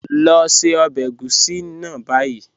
Lọ ṣẹ ọbẹ ègúsì ni bayi.